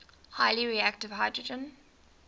highly reactive hydrogen